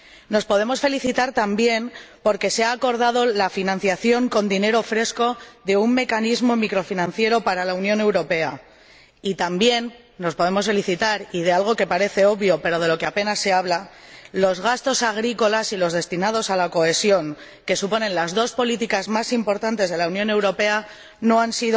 Nos podemos felicitar también porque se ha acordado la financiación con dinero fresco de un mecanismo microfinanciero para la Unión Europea, y también nos podemos felicitar por algo que parece obvio, pero de lo que apenas se habla los gastos agrícolas y los destinados a la cohesión, que suponen las dos políticas más importantes de la Unión Europea, no se han